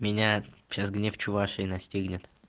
меня сейчас гнев чувашии настигнет